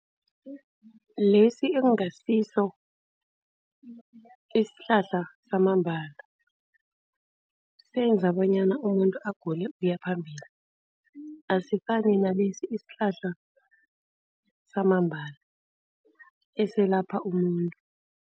Lesi ekungasiso isihlahla samambala, senza bonyana umuntu agule ukuya phambili. Asifani nalesi isihlahla samambala, esilapha umuntu.